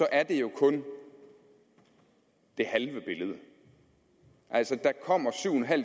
er det kun det halve billede altså der kommer syv